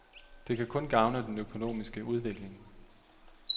Det kan kun gavne den økonomiske udvikling.